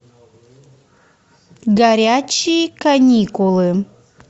горячие каникулы